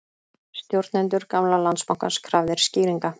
Stjórnendur gamla Landsbankans krafðir skýringa